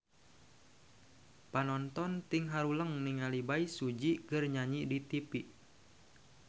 Panonton ting haruleng ningali Bae Su Ji keur nyanyi di tipi